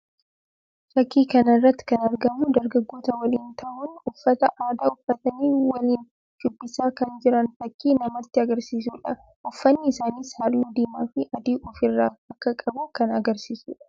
Fakkii kana irratti kan argamu dargaggoota waliin tahuun uffata aadaa uffatanii walii shubbisaa kan jiran fakkii namatti agarsiisuu dha. Uffanni isaaniis halluu diimaa fi adii of irraa akka qabu kan agarsiisuu dha.